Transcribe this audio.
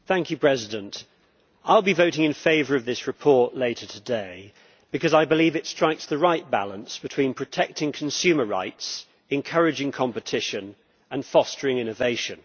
Mr President, I will be voting in favour of this report later today because I believe it strikes the right balance between protecting consumer rights, encouraging competition and fostering innovation.